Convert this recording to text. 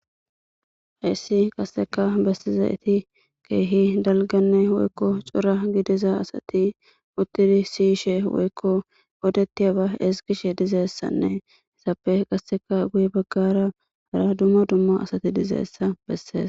Hessi qaseka bessizayti keehi dalganne woykko cora gidiza asati uttidi siyishe woykko odetiyaba ezgishe dizayssane izappe qasea guye bagara dumma dumma asati dizayssa besees.